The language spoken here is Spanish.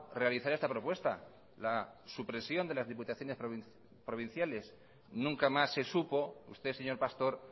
realizar esta propuesta la supresión de las diputaciones provinciales nunca más se supo usted señor pastor